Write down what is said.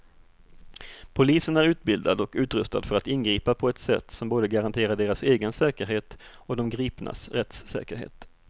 Polisen är utbildad och utrustad för att ingripa på ett sätt som både garanterar deras egen säkerhet och de gripnas rättssäkerhet.